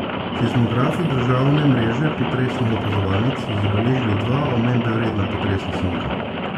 Seizmografi državne mreže potresnih opazovalnic so zabeležili dva omembe vredna potresna sunka.